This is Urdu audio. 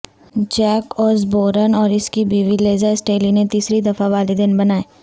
جیک اوزبورن اور اس کی بیوی لیزا سٹیلی نے تیسرے دفعہ والدین بنائے